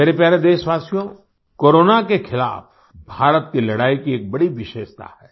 मेरे प्यारे देशवासियों कोरोना के खिलाफ़ भारत की लड़ाई की एक बड़ी विशेषता है